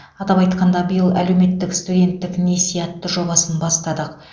атап айтқанда биыл әлеуметтік студенттік несие атты жобасын бастадық